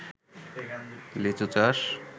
লিচু চাষ